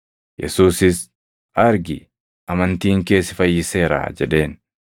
Yesuusis, “Argi; amantiin kee si fayyiseeraa” jedheen.